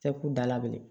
Tɛ k'u dala bilen